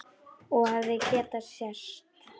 Og hefði getað sést.